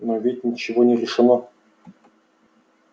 но ведь ничего не решено